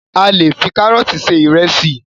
A le fi karọọti ṣe ìrẹsì